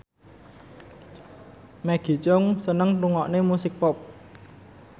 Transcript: Maggie Cheung seneng ngrungokne musik pop